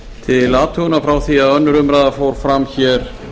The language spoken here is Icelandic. til athugunar frá því að önnur umræða fór fram hér